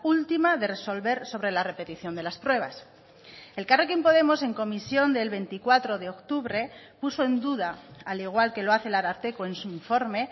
última de resolver sobre la repetición de las pruebas elkarrekin podemos en comisión del veinticuatro de octubre puso en duda al igual que lo hace el ararteko en su informe